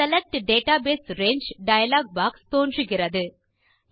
select database range dialog box தோன்றுகிறது